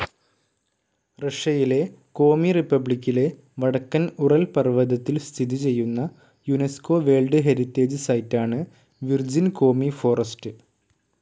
റഷ്യയിലെ കോമി റിപ്പബ്ലിക്കിലെ വടക്കൻ ഉറൽ പർവതത്തിൽ സ്ഥിതി ചെയ്യുന്ന യുനെസ്കോ വേർൽഡ്‌ ഹെറിറ്റേജ്‌ സൈറ്റാണ് വിർജിൻ കോമി ഫോറസ്റ്റ്.